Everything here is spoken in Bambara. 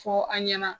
Fɔ an ɲɛna